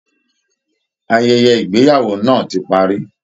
Ayẹyẹ Ìgbéyàwó náà ti parí